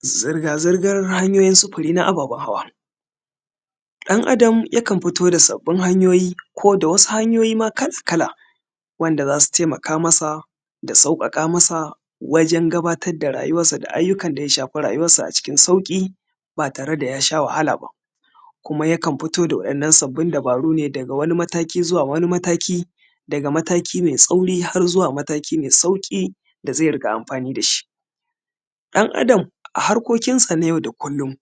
zirga zirgar hanyoyin sufuri na ababen hawa ɗan adam yakan fito da sababbin hanyoyi koda wasu hanyoyin ma kala wanda za su taimaka masa da sauƙaƙa masa wajan gabatar da rayuwansa da aiyukan da ya shafi rayuwansa a cikin sauƙi ba tare da ya sha wahala ba kuma yakan fito da wa’innan sababbin dubaru ne daga wani mataki zuwa wani mataki daga mataki mai tsauri har zuwa mataki mai sauki da zai riƙa amfani da shi dan adam harkokin sa na yau da kullum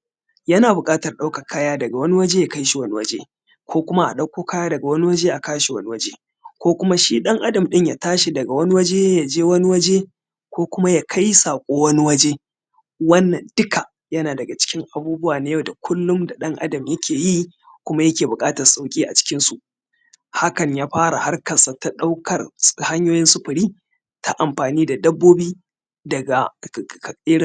yana buƙatan ɗaukan kaya daga wani waje zuwa wani waje ko kuma a ɗauko kaya daga wani waje a kawo shi wani waje ko kuma shi dan adam ɗin ya tashi daga wani waje ya je wani waje ko kuma ya kai saƙo wani waje wannan duka yana daga cikin abubuwa na yau da kullum da ɗan adam yake yi kuma yake buƙatan sauƙi a cikin su hakan ya fara harkarsa ta ɗaukan hanyoyin sufuri ta amfani da dabbobi daga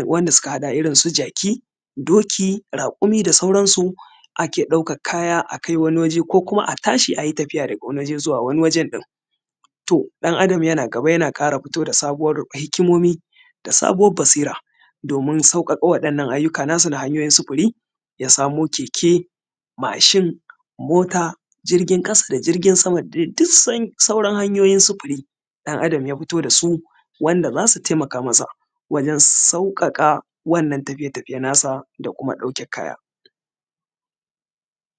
wanda suka haɗa da irinsu jaki doki raƙumi da sauransu ake ɗaukan kaya akai wani waje ko kuma a tashi a yi tafiya daga wani waje zuwa wani waje ɗin to ɗan adam yana gaba yana ƙara fito da sabuwar hikimomi da sabuwar basira domin sauƙaƙa wadannan aiyuka na su na hanyoyin sufuri ya samo keke mashin mota jirgin ƙasa da jirgin sama duk sauran hanyoyin sufuri ɗan adam ya fito da su wanda za su taimaka masa wajan sauƙaƙa wannan tafiye tafiye na su da kuma ɗauke kaya